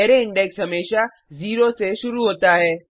array index हमेशा 0 से शुरू होता है